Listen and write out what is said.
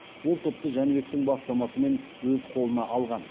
ол топты жәнібектің бастамасымен өз қолына алған